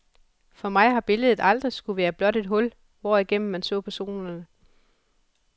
For mig har billedet aldrig skullet være blot et hul, hvorigennem man så personerne.